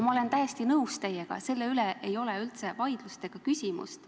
Ma olen täiesti nõus teiega, selle üle ei ole üldse vaidlust, siin ei ole küsimust.